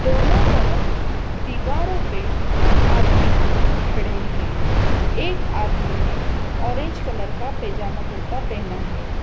दोनों तरफ दीवारों पे आदमी खड़े हैं एक आदमी ने ऑरेंज कलर का पजामा कुर्ता पहना है।